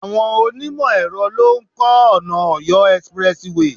Àwọn onimo ẹ̀rọ lo ń ko ona Ọ̀yọ́ expressway